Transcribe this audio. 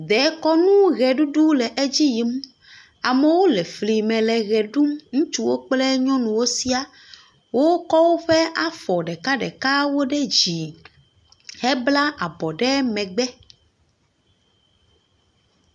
Ɖekunu ʋeɖuɖu le edzi yim. Amewo le fli me ʋe ɖum. Ŋutsuwo kple nyɔnuwo sia. Wokɔ woƒe afɔ ɖeka ɖekawo ɖe dzi hebla abɔ ɖe megbe.